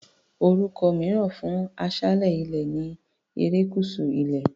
Orúkọ mìíràn fún aṣálẹ̀ ilẹ̀ ni erékùṣù ilẹ̀.